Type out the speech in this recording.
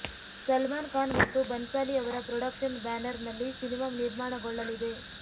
ಸಲ್ಮಾನ್ ಖಾನ್ ಮತ್ತು ಬನ್ಸಾಲಿ ಅವರ ಪ್ರೊಡಕ್ಷನ್ ಬ್ಯಾನರ್ನಲ್ಲಿ ಸಿನಿಮಾ ನಿರ್ಮಾಣಗೊಳ್ಳಲಿದೆ